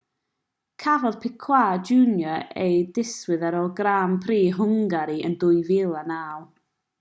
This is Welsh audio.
cafodd piquet jr ei ddiswyddo ar ôl grand prix hwngari yn 2009